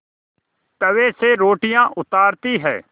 तवे से रोटियाँ उतारती हैं